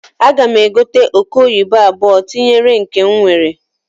Aga m egote oke oyibo abuọ tinyere nke n nwere.